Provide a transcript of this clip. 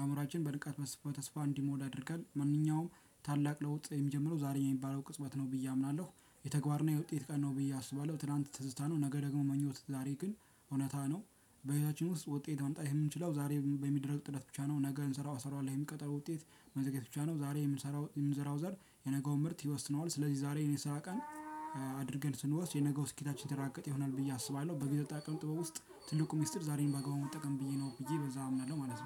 አእምሮአችን በንቃት በተስፋ እንዲሞላ ያደርጋል ማንኛውም ታላቅ ለውጥ የሚጀምረው ዛሬ የሚባለው ቅጽበት ነው ብዬ አምናለሁ። የተግባርና የውጤት ቀን ነው ብዬ አስባለሁ ትላንት ትዝታ ነው ነገ ደግሞ ምኞት ዛሬ ግን እውነታ ነው። በህይወታችን ውስጥ ውጤት ማምጣት የምንችለው ዛሬ በሚደረግ ጥረት ብቻ ነው። ነገ እንሰራው አሰራዋለው የሚል ቀጠሮ ውጤት። መዘግየት ብቻ ነው። ዛሬ የምንሰራው የምንዘራው ዘር የነገውን ምርት ይወስነዋል። ስለዚህ ዛሬን የስራ ቀን አድርገን ስንወስድ የነገው ስኬታችን የተረጋገጠ ይሆናል ብዬ አስባለሁ። በገጠጣ ቀን ጥበብ ውስጥ ትልቁ ሚስጥር ዛሬን በአግባቡ መጠቀም ብዬ ነው ብዬ በዛ አምናለሁ ማለት ነው